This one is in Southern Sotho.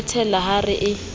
le thella ha a re